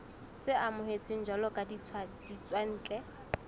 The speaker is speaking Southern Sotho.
tse amohetsweng jwalo ka ditswantle